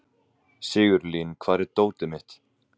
Sigurlín, hvar er dótið mitt?